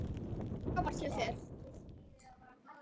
Frábært hjá þér!